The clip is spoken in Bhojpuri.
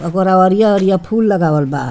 ओकर अरिया-अरिया फूल लगावल बा।